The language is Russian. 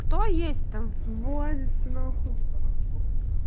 кто есть там вылазте нахуй